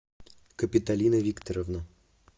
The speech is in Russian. капиталина викторовна